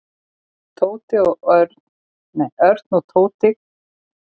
Örn og Tóti gáfu henni auga en hún leit ekki upp.